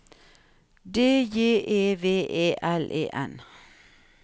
D J E V E L E N